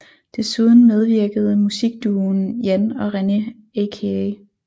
Desuden medvirkede musikduoen Jan og René aka